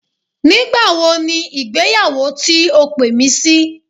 Nígbàwo ni ìgbéyàwó ti o pè mí sí?